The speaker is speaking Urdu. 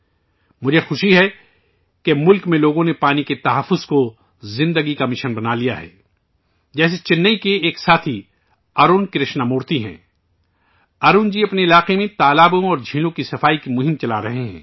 مجھے خوشی ہے کہ ملک میں بہت سے لوگوں نے پانی کے تحفظ کو زندگی کا مشن بنا لیا ہے ، جیسے چنئی کے ایک ساتھی ہیں ، ارون کرشنامورتی جی! ارون جی اپنے علاقے میں تالابوں اور جھیلوں کی صفائی کی مہم چلا رہے ہیں